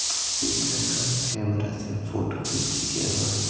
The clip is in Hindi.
एक लड़का कैमरा से फोटो भी खींच रहा है।